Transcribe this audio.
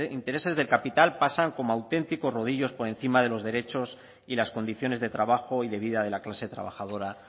intereses del capital pasan como auténticos rodillos por encima de los derechos y las condiciones de trabajo y de vida de la clase trabajadora